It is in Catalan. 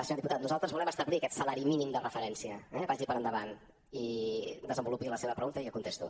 senyor diputat nosaltres volem establir aquest salari mínim de referència eh vagi per endavant i desenvolupi la seva pregunta i jo contesto